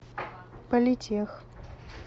политех